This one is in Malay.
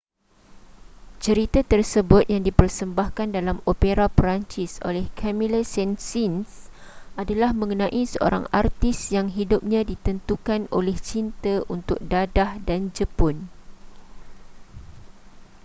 cerita tersebut yang dipersembahkan dalam opera perancis oleh camille saint-saens adalah mengenai seorang artis yang hidupnya ditentukan oleh cinta untuk dadah dan jepun